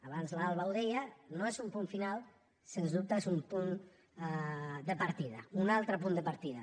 abans l’alba ho deia no és un punt final sens dubte és un punt de partida un altre punt de partida